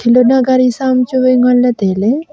duna gaari sa am chu ngan ley tai ley.